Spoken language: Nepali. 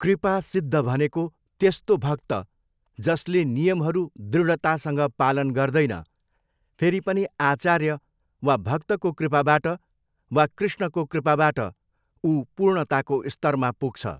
कृपा सिद्ध भनेको त्यस्तो भक्त जसले नियमहरू दृढ़तासँग पालन गर्दैन फेरी पनि आचार्य वा भक्तको कृपाबाट वा कृष्णको कृपाबाट ऊ पूर्णताको स्तरमा पुग्छ।